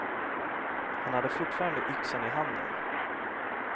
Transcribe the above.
Han hade fortfarande yxan i handen.